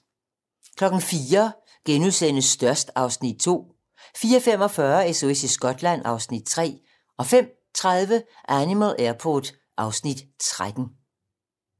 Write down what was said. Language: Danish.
04:00: Størst (Afs. 2)* 04:45: SOS i Skotland (Afs. 3) 05:30: Animal Airport (Afs. 13)